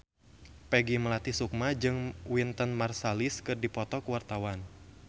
Peggy Melati Sukma jeung Wynton Marsalis keur dipoto ku wartawan